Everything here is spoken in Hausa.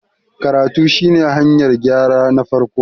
karatu shi ne hanyar gyra na farko